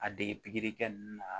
A dege pikiri kɛ ninnu na